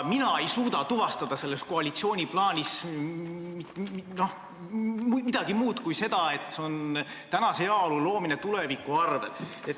Mina ei suuda selles koalitsiooni plaanis tuvastada midagi muud kui seda, et see on tänase heaolu loomine tuleviku arvel.